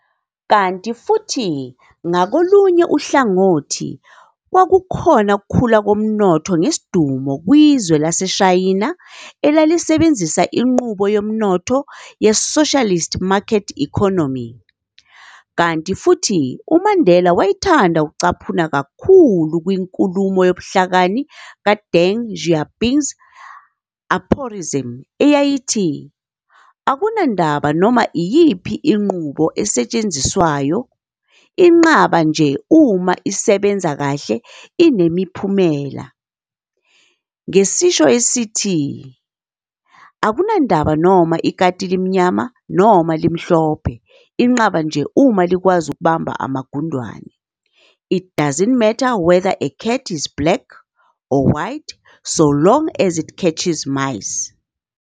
Kanti futhi ngakolunye uhlangothi, kwakukhona ukukhula komnotho ngesidumo kwizwe laseShayina elalisebenzissa inqubo yomnotho ye-"socialist market economy", kanti futhi uMandela wayethanda ukucaphuna kakhulu kwinkulumo yobuhlakani ka-Deng Xiaoping's aphorism- eyayithi, akunandaba noma yiyiphi inqubo esetshenziswawayo, inqaba nje uma isebenza kahle inemiphumela, ngesisho esithi, akunandaba noma ikati limnyama noma limhlophe, inqaba nje uma likwazi ukubamba amagundane, "It doesn't matter whether a cat is black or white, so long as it catches mice"."